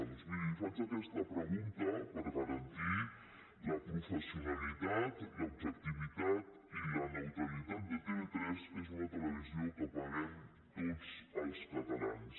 doncs miri li faig aquesta pregunta per garantir la professionalitat l’objectivitat i la neutralitat de tv3 que és una televisió que paguem tots els catalans